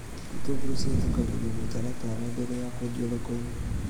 Itũngũrũ cihitũkagĩrio mũtaratara mbere ya kwendio thoko-inĩ